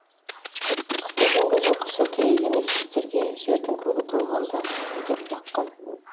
қысты күнгі жылқышы керек емес біздерге жердің көгі толғанда деп лаққан